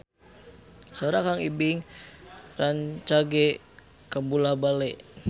Sora Kang Ibing rancage kabula-bale